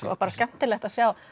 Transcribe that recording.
bara skemmtilegt að sjá